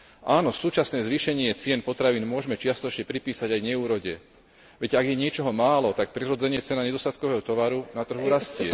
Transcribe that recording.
Áno, súčasné zvýšenie cien potravín môžeme čiastočne pripísať aj neúrode. Veď ak je niečoho málo, tak prirodzene cena nedostatkového tovaru na trhu rastie.